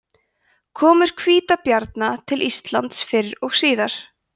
komur hvítabjarna til íslands fyrr og síðar